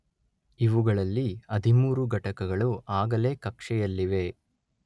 ಇವುಗಳಲ್ಲಿ ಹದಿಮೂರು ಘಟಕಗಳು ಆಗಲೇ ಕಕ್ಷೆಯಲ್ಲಿವೆ